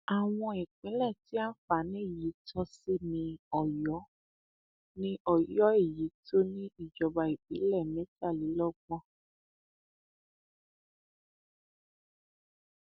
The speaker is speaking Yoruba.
àwọn ìpínlẹ tí àǹfààní yìí yóò tọ sí ni ọyọ ni ọyọ èyí tó ní ìjọba ìbílẹ mẹtàlélọgbọn